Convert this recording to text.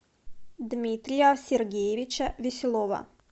дмитрия сергеевича веселова